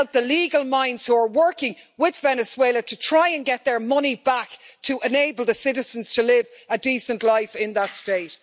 help the legal minds who are working with Venezuela to try to get their money back to enable the citizens to live a decent life in that State.